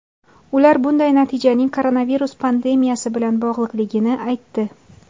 Ular bunday natijaning koronavirus pandemiyasi bilan bog‘liqligini aytdi.